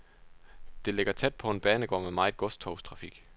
Det ligger tæt på en banegård med meget godstogstrafik.